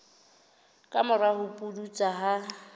ka mora ho pudutsa ha